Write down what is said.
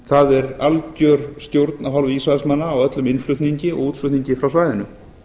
það er algjör stjórn af hálfu ísraelsmanna á öllum innflutningi og útflutningi frá svæðinu